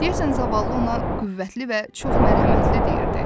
Deyəsən zavallı ona qüvvətli və çox mərhəmətli deyirdi.